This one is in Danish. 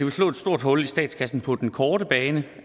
stort hul i statskassen på den korte bane